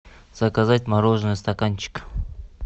заказать мороженое стаканчик